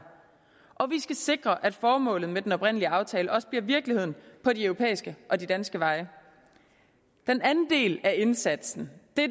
og vi skal sikre at formålet med den oprindelige aftale også bliver virkeligheden på de europæiske og de danske veje den anden del af indsatsen er